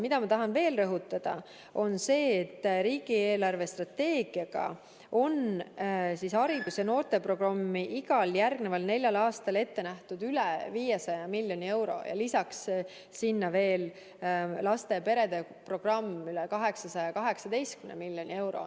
Ma tahan rõhutada veel seda, et riigi eelarvestrateegiaga on haridus- ja noorteprogramm jaoks igal järgneval neljal aastal ette nähtud üle 500 miljoni euro, lisaks veel laste ja perede programm üle 818 miljoni euro.